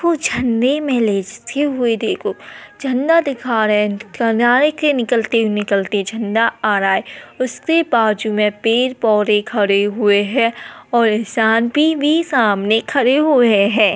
कुछ झंडे में लेस्ते हुए देखो झंडा दिखा रहे है। किनारे के निकलते निकलते झंडा आ रहा है। उसके बाजू में पेड़ पौधे खड़े हुए है और इंसान भी सामने खड़े हुए है।